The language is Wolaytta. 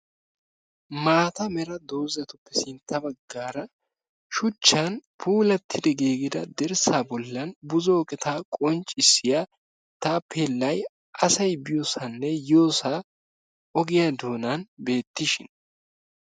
maata mera doozzatuppe sintta baggaara shuchchan puulattida giigida dirssa bollan buzzo eqota qonccissiya taapelay asay biyoossanne yiyyosa ogiyaa doonan beettishin.